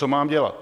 Co mám dělat?